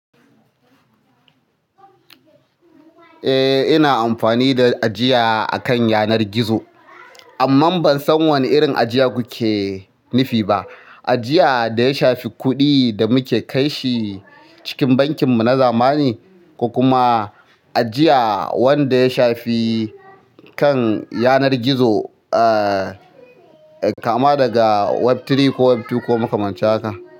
Eh ina amfani da ajiya akan yanar gizo. Amma ban san wane irin ajiya kuke nufi ba. Ajiya da ya shafi kuɗin da muke kai shi cikin bankin mu na zamani, ko kuma ajiya wanda ya shafi kan yanar gizo, ah kama daga Web uku ko Web biyu ko makamancin haka?